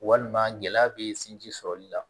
Walima gɛlɛya bɛ sinji sɔrɔli la